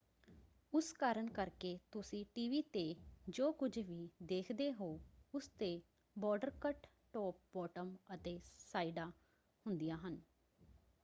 ਉਸ ਕਾਰਨ ਕਰਕੇ ਤੁਸੀਂ ਟੀਵੀ ‘ਤੇ ਜੋ ਕੁੱਝ ਵੀ ਦੇਖਦੇ ਹੋ ਉਸ ‘ਤੇ ਬਾਰਡਰ ਕੱਟ ਟੋਪ ਬਾਟਮ ਅਤੇ ਸਾਈਡਾਂ ਹੁੰਦੀਆਂ ਹਨ।